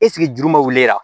juru ma wuli a